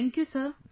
Thank you sir